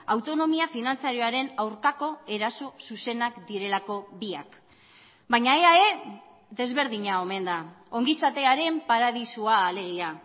autonomia finantzarioaren aurkako eraso zuzenak direlako biak baina eae desberdina omen da ongizatearen paradisua alegia